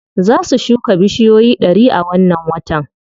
Za su shuka bushiyoyi ɗari a wannan watan.